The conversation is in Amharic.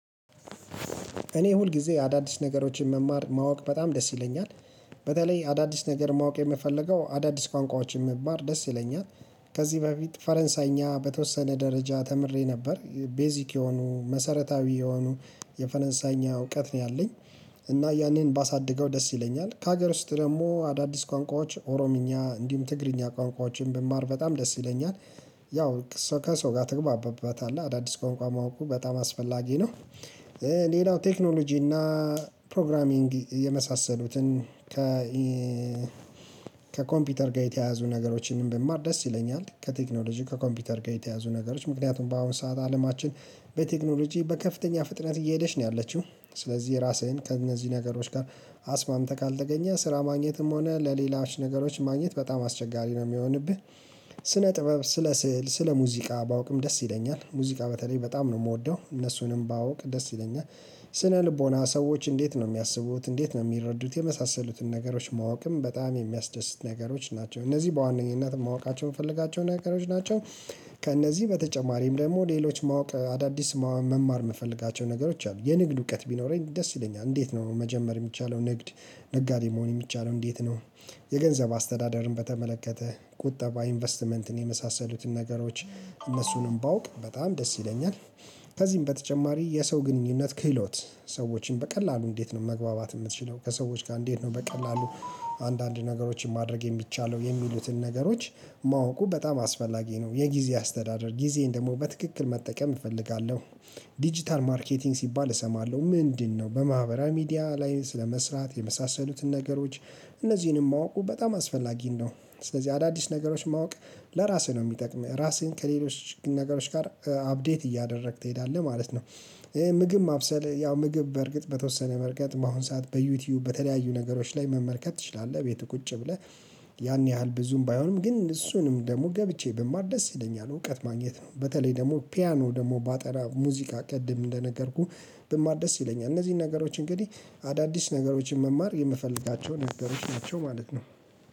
እኔ ሁል ጊዜ አዳዲስ ነገሮችን መማር ማወቅ በጣም ደስ ይለኛል። በተለይ አዳዲስ ነገር ማወቅ የምፈልገው አዳዲስ ቋንቋዎችን መማር ደስ ይለኛል። ከዚህ በፊት ፈረንሳይኛ በተወሰነ ደረጃ ተምሬ ነበር ቤዚክ የሆኑ መሰረታዊ የሆኑ የፈረንሳይኛ እውቀት ነው ያለኝ። እና ያንን ባሳድገው ደስ ይለኛል ከሀገር ውስጥ ደግሞ አዳዲስ ቋንቋዎች ኦሮምኛ እንዲሁም ትግርኛ ቋንቋዎችን ብማር በጣም ደስ ይለኛል። ያው ከሰው ጋር ትግባባበታል አዳዲስ ቋንቋ ማወቁ በጣም አስፈላጊ ነው። ሌላው ቴክኖሎጂ እና። ፕሮግራሚንግ የመሳሰሉትን ከ ከኮምፒውተር ጋር የተያያዙ ነገሮችንም ብማር ደስ ይለኛል። ከቴክኖሎጂ ከኮምፒውተር ጋር የተያያዙ ነገሮች ምክንያቱም በአሁን ሰዓት አለማችን በቴክኖሎጂ በከፍተኛ ፍጥነት እየሄደች ነው ያለችው። ስለዚህ ራስህን ከእነዚህ ነገሮች ጋር አስማምተህ ካልተገኘህ ስራ ማግኘትም ሆነ ለሌላዎች ነገሮች ማግኘት በጣም አስቸጋሪ ነው የሚሆንብህ። ስነ ጥበብ ስለ ስዕል ስለ ሙዚቃ ባውቅም ደስ ይለኛል ሙዚቃ በተለይ በጣም ነው የምወደው እነሱንም ባውቅ ደስ ይለኛል። ስነ ልቦና ሰዎች እንዴት ነው የሚያስቡት እንዴት ነው የሚረዱት የመሳሰሉትን ነገሮች ማወቅም በጣም የሚያስደስት ነገሮች ናቸው እነዚህ በዋነኝነት ማወቃቸውን የምፈልጋቸው ነገሮች ናቸው። ከእነዚህ በተጨማሪም ደግሞ ሌሎች ማወቅ አዳዲስ መማር የምፈልጋቸው ነገሮች አሉ። የንግድ እውቀት ቢኖረኝ ደስ ይለኛል። እንዴት ነው ነው መጀመር የሚቻለው ንግድ ነጋዴ መሆን የሚቻለው እንዴት ነው? የገንዘብ አስተዳደርን በተመለከተ ቁጠባ ኢንቨስትመንትን የመሳሰሉትን ነገሮች እነሱንም ባውቅ በጣም ደስ ይለኛል። ከዚህም በተጨማሪ የሰው ግንኙነት ክህሎት። ሰዎችን በቀላሉ እንዴት ነው መግባባት የምትችለው ከሰዎች ጋር እንዴት ነው በቀላሉ? አንዳንድ ነገሮችን ማድረግ የሚቻለው የሚሉትን ነገሮች። ማወቁ በጣም አስፈላጊ ነው የጊዜ አስተዳደር ጊዜን ደግሞ በትክክል መጠቀም እፈልጋለሁ። ዲጂታል ማርኬቲንግ ሲባል እሰማለሁ ምንድነው? በማህበራዊ ሚዲያ ላይ ስለመስራት የመሳሰሉትን ነገሮች እነዚህንም ማወቁ በጣም አስፈላጊ ነው። ስለዚህ አዳዲስ ነገሮች ማወቅ ለራስህ ነው የሚጠቅም ራስህን ከሌሎች ነገሮች ጋር አፕዴት እያደረግክ ትሄዳለህ ማለት ነው። ይሄ ምግብ ማብሰል ያው ምግብ በእርግጥ በተወሰነ መንገድ መሆን ሰዓት በዩቲዩብ በተለያዩ ነገሮች ላይ መመልከት ትችላለህ ቤት ቁጭ ብለህ። ያን ያህል ብዙም ባይሆንም ግን እሱንም ደግሞ ገብቼ ብማር ደስ ይለኛል። እውቀት ማግኘት ነው በተለይ ደግሞ ፒያኖ ደግሞ ባጠና ሙዚቃ ቅድም እንደነገርኩህ ብማር ደስ ይለኛል። እነዚህን ነገሮች እንግዲህ አዳዲስ ነገሮችን መማር የምፈልጋቸው ነገሮች ናቸው ማለት ነው።